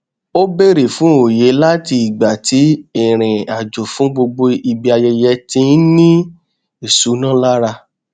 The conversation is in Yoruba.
ó bèrè fún òye láti ìgbà tí ìrìn àjò fún gbogbo ibi ayẹyẹ ti n ni ìṣúná lára